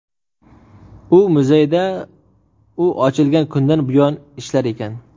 U muzeyda u ochilgan kundan buyon ishlar ekan.